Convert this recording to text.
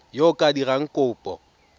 yo o ka dirang kopo